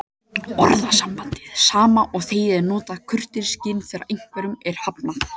Orðasambandið sama og þegið er notað í kurteisisskyni þegar einhverju er hafnað.